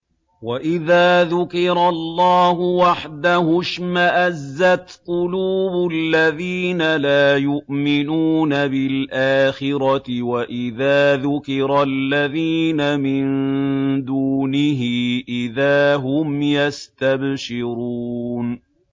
وَإِذَا ذُكِرَ اللَّهُ وَحْدَهُ اشْمَأَزَّتْ قُلُوبُ الَّذِينَ لَا يُؤْمِنُونَ بِالْآخِرَةِ ۖ وَإِذَا ذُكِرَ الَّذِينَ مِن دُونِهِ إِذَا هُمْ يَسْتَبْشِرُونَ